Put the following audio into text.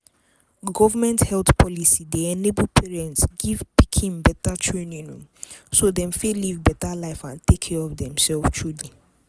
government health policy dey enable parents give pikin better training so dem fit live better life and take care of demself true